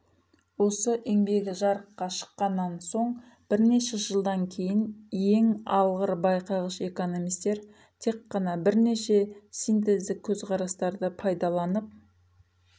осы еңбегі жарыққа шыққаннан соң бірнеше жылдан кейін ең алғыр байқағыш экономистер тек қана бірнеше синтездік көзқарастарды пайдаланып